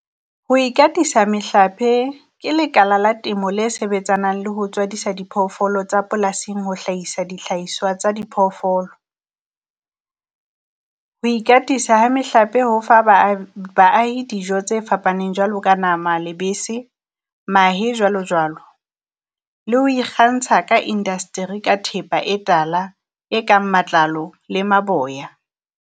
Ho ikatisa mehlape ke lekala la temo le sebetsanang le ho tswadisa diphoofolo tsa polasing, ho hlahisa dihlahiswa tsa di phoofolo. Ho ikatisa ha mehlape ho fa baahi dijo tse fapaneng jwalo ka nama, lebese mahe jwalo jwalo, le ho ikgantsha ka indasteri ka thepa e tala, e kang matlalo le maboya.